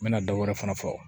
N mɛna dɔw yɛrɛ fana fɔ